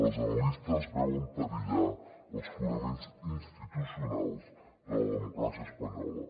els analistes veuen perillar els fonaments institucionals de la democràcia espanyola